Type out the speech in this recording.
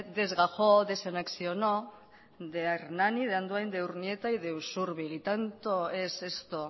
desgajó desanexionó de hernani de andoain de urnieta y de usurbil y tanto es esto